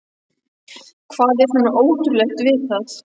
Hvað er svona ótrúlegt við það?